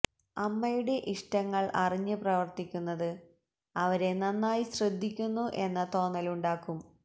അമ്മയുടെ ഇഷ്ടങ്ങള് അറിഞ്ഞ് പ്രവര്ത്തിക്കുന്നത് അവരെ നന്നായി ശ്രദ്ധിക്കുന്നു എന്ന തോന്നലുണ്ടാക്കും